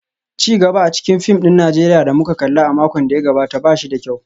Ci gaba a cikin fim ɗin Najeriya da muka kalla a makon da ya gabata ba shi da kyau